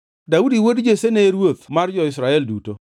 Daudi wuod Jesse ne ruoth mar jo-Israel duto.